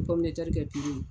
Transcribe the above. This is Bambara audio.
kɛ tulu